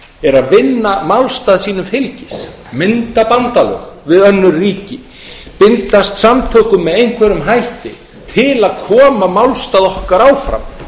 er að vinna málstað sínum fylgi mynda bandalög við önnur ríki bindast samtökum með einhverjum hætti til að koma málstað okkar áfram